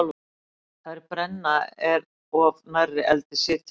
Þeir brenna er of nærri eldi sitja.